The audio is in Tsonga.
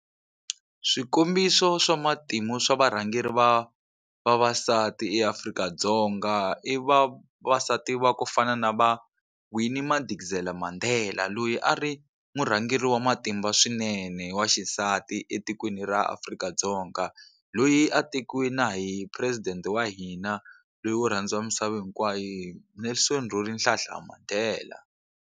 Swikombiso swa matimu swa varhangeri va vavasati eAfrika-Dzonga i vavasati va ku fana na va Winnie Madikizela Mandela loyi a ri murhangeri wa matimba swinene wa xisati etikweni ra Afrika-Dzonga loyi a tekiwe na hi phuresidente wa hina loyi wo rhandziwa misava hinkwayo Nelson Rolihlahla Mandela.